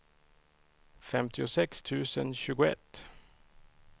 femtiosex tusen tjugoett